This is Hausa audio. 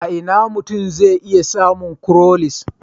A ina mutum zai iya samun cowries?